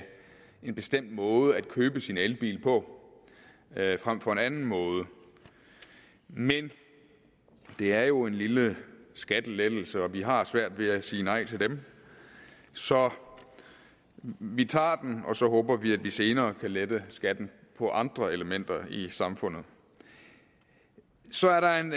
en bestemt måde at købe sin elbil på frem for en anden måde men det er jo en lille skattelettelse og vi har svært ved at sige nej til dem så vi tager den og så håber vi at vi senere kan lette skatten på andre elementer i samfundet så er der en